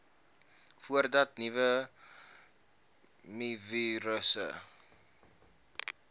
voordat nuwe mivirusse